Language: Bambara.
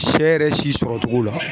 Sɛ yɛrɛ si sɔrɔcogo la